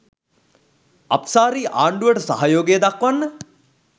අප්සාරි ආණ්ඩුවට සහයෝගය දක්වන්න